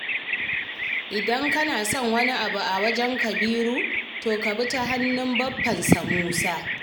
Idan kana son wani abu a wajen Kabiru, to ka bi ta hannun baffansa Musa